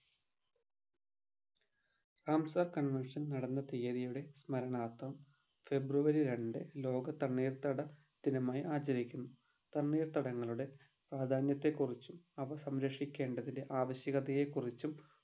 Ramsar Convection നടന്ന തിയതിയുടെ സ്മരണാർത്ഥം february രണ്ട് ലോക തണ്ണീർത്തട ദിനമായി ആചരിക്കുന്നു തണ്ണീർത്തടങ്ങളുടെ പ്രാധാന്യത്തെ കുറിച്ചും അവ സംരക്ഷിക്കേണ്ടത്തിൻ്റെ ആവശ്യകതയെ കുറിച്ചും